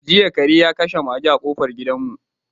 Jiya kare ya kashe maga a kofar gidanmu.